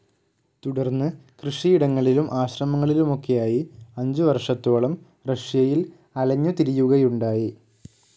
തുടർന്ന് കൃഷിയിടങ്ങളിലും, ആശ്രമങ്ങളിലുമൊക്കെയായി അഞ്ചുവർഷത്തോളം റഷ്യയിൽ അലഞ്ഞുതിരിയുകയുണ്ടായി.